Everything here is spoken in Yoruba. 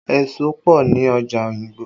Èso pọ ni ọjà Oyingbo